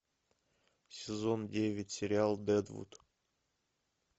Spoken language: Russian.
сезон девять сериал дэдвуд